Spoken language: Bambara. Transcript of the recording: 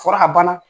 Fɔra a banna